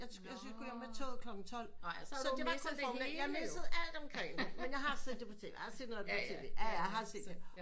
Så skulle jeg med toget klokken tolv så det var kun formiddagen jeg missede alt omkring mig men jeg har set det på tv jeg har set noget af det på tv